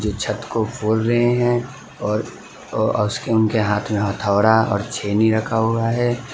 छत को खोल रहे हैं और अ उनके हाथ में हथोड़ा और छेनी रखा हुआ है।